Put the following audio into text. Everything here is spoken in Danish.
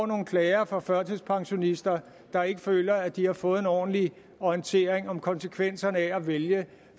nogle klager fra førtidspensionister der ikke føler at de fået en ordentlig orientering om konsekvenserne af at vælge at